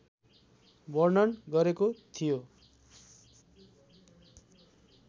वर्णन गरेको थियो।